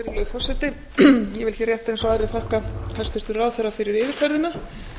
forseti ég vil hér rétt eins og aðrir þakka hæstvirtum ráðherra fyrir yfirferðina